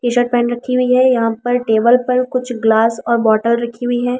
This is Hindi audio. टी-शर्ट पेन रखी हुई है यहां पर टेबल पर कुछ ग्लास और बॉटल रखी हुई है।